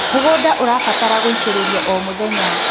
mũgũnda ũrabatara gũitiririo o mũthenya